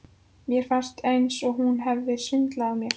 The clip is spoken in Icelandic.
Mér fannst eins og hún hefði svindlað á mér.